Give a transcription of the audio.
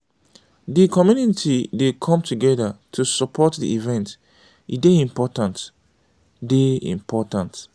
di community dey come togedir to support di event; e dey important. dey important.